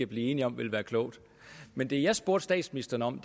blive enige om vil være klogt men det jeg spurgte statsministeren om